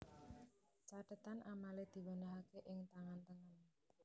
Cathetan amale diwenehake ing tangan tengen